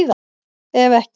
Ef ekki